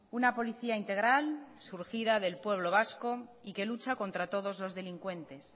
una policía integral surgida del pueblo vasco y que lucha contra todos los delincuentes